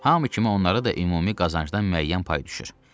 Hamı kimi onlara da ümumi qazancdan müəyyən pay düşür.